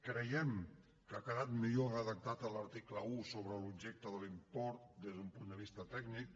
creiem que ha quedat millor redactat l’article un sobre l’objecte de l’import des d’un punt de vista tècnic